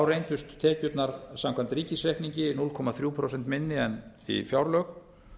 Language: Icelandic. reyndust tekjurnar samkvæmt ríkisreikningi núll komma þrjú prósent minni en fjárlög